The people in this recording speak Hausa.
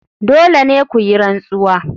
Dole ne ku yi rantsuwa.